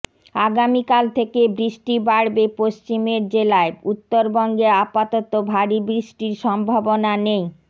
আগামিকাল থেকে বৃষ্টি বাড়বে পশ্চিমের জেলায় উঃবঙ্গে আপাতত ভারী বৃষ্টির সম্ভাবনা নেই